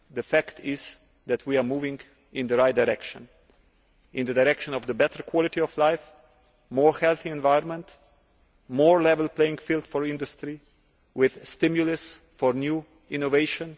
The fact is that we are moving in the right direction, in the direction of a better quality of life, a more healthy environment, a more level playing field for industry, with stimulus for new innovation.